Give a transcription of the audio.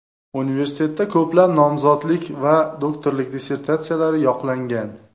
Universitetda ko‘plab nomzodlik va doktorlik dissertatsiyalari yoqlangan.